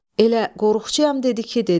Elə qorxçuyam dedi ki, dedi.